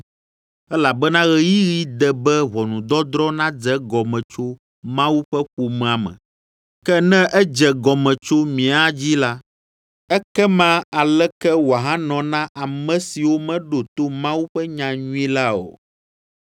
Elabena ɣeyiɣi de be ʋɔnudɔdrɔ̃ nadze egɔme tso Mawu ƒe ƒomea me; ke ne edze gɔme tso mía dzi la, ekema aleke woahanɔ na ame siwo meɖo to Mawu ƒe nyanyui la o?